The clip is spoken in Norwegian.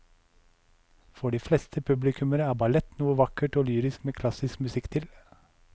For de fleste publikummere er ballett noe vakkert og lyrisk med klassisk musikk til.